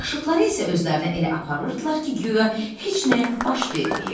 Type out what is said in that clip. Yaşıdları isə özlərini elə aparırdılar ki, guya heç nə baş verməyib.